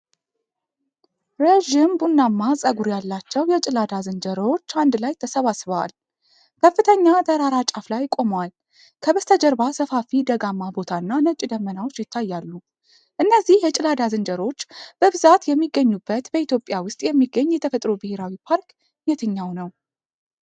ረዥም ቡናማ ፀጉር ያላቸው የጭላዳ ዝንጀሮዎች አንድ ላይ ተሰባስበዋል። ከፍተኛ ተራራ ጫፍ ላይ ቆመዋል። ከበስተጀርባ ሰፋፊ ደጋማ ቦታ እና ነጭ ደመናዎች ይታያሉ። እነዚህ የጭላዳ ዝንጀሮዎች በብዛት የሚገኙበት በኢትዮጵያ ውስጥ የሚገኝ የተፈጥሮ ብሔራዊ ፓርክ የትኛው ነው?